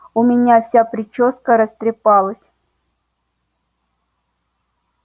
у меня вся причёска растрепалась